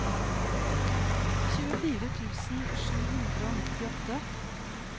tjuefire tusen sju hundre og nittiåtte